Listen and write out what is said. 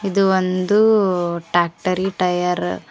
ಇದು ಒಂದು tractor tyre --